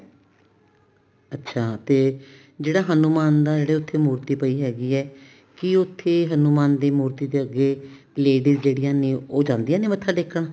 ਅੱਛਾ ਤੇ ਜਿਹੜਾ ਹਨੁਮਾਨ ਦਾ ਜਿਹੜੀ ਉੱਥੇ ਮੂਰਤੀ ਪਈ ਹੈਗੀ ਏ ਕੀ ਉੱਥੇ ਹਨੁਮਾਨ ਜੀ ਦੀ ਮੂਰਤੀ ਅੱਗੇ ladies ਜਿਹੜੀਆਂ ਨੇ ਉਹ ਜਾਂਦੀਆਂ ਨੇ ਮੱਥਾ ਟੇਕਣ